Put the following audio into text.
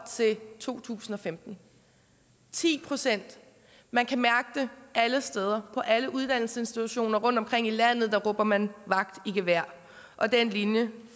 til to tusind og femten ti procent man kan mærke det alle steder og på alle uddannelsesinstitutioner rundtomkring i landet råber man vagt i gevær og den linje